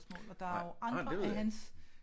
Nej det ved jeg ikke